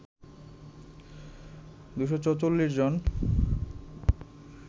২৪৪ জন